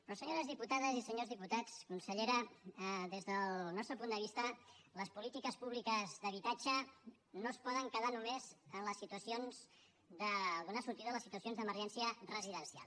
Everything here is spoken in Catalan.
però senyores diputades i senyors diputats consellera des del nostre punt de vista les polítiques públiques d’habitatge no es poden quedar només en les situacions de donar sortida a les situacions d’emergència residencial